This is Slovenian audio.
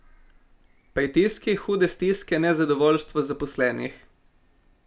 Pritiski, hude stiske, nezadovoljstvo zaposlenih.